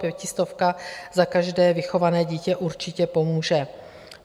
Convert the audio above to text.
Pětistovka za každé vychované dítě určitě pomůže.